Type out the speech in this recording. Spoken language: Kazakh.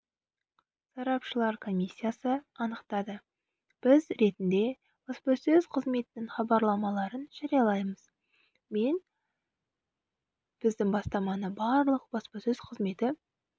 сарапшылар комиссиясы анықтады біз ретінде баспасөз қызметінің хабарламаларын жариялаймыз мен біздің бастаманы барлық баспасөз қызметі